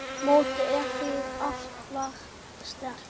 Mótið er því afar sterkt.